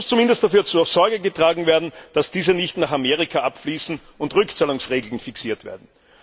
Da muss zumindest dafür Sorge getragen werden, dass diese nicht nach Amerika abfließen, und es müssen Rückzahlungsregeln fixiert werden.